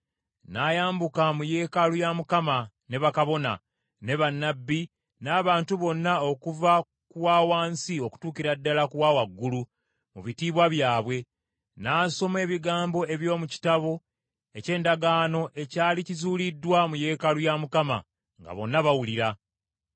N’ayambuka mu yeekaalu ya Mukama ne bakabona, ne bannabbi, n’abantu bonna okuva ku wa wansi okutuukira ddala ku wa waggulu mu bitiibwa byabwe. N’asoma ebigambo eby’omu Kitabo eky’Endagaano ekyali kizuuliddwa mu yeekaalu ya Mukama , nga bonna bawulira.